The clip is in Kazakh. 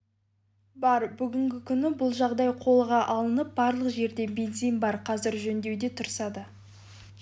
бар бүгінгі күні бұл жағдай қолға алынып барлық жерде бензин бар қазір жөндеуде тұрса да